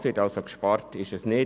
Gespart wird das Geld also nicht;